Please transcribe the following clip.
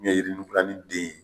Min ye yirinufilani den ye